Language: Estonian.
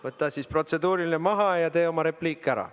Võta siis protseduuriline maha ja tee oma repliik ära.